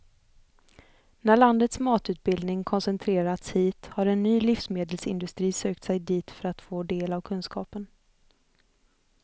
När landets matutbildning koncentrerats hit har en ny livsmedelsindustri sökt sig dit för att få del av kunskapen.